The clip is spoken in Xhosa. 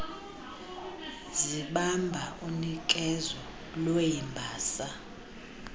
zibamba unikezo lweembasa